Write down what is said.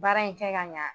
Baara in kɛ ka ɲa